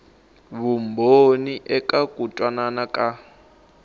vumbhoni eka ku twanana ka